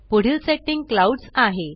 पुढील setting clouds आहे